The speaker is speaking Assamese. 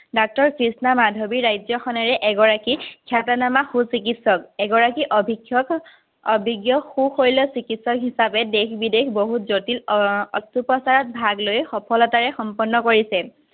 ডাক্তৰ কৃষ্ণা মাধৱীৰ ৰাজ্যখনৰে এগৰাকী খ্যাতনমা সুচিকিত্সক। এগৰাকী অভিজ্ঞ সু-শৈল চিকিত্সক হিচাপে দেশ-বিদেশ বহুত জটিল অস্ত্ৰোপচাৰত ভাগলৈ সফলতাৰে সম্পন্ন কৰিছে।